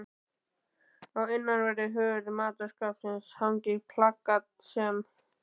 Á innanverðri hurð matarskápsins hangir plakat sem